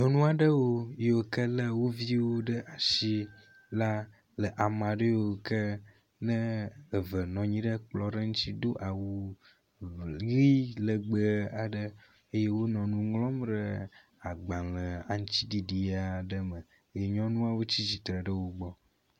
Nyɔnu aɖewo yiwo ke le wo viwo ɖe asi la le ame aɖe yiwo ke eve nɔ anyi ɖe kplɔ ɖe ŋuti do awu ʋi legbe aɖe eye wonɔ nu ŋlɔm ɖe agbale aŋtiɖiɖi aɖe me eye nyɔnu tsi tsitre ɖe wo gbɔ.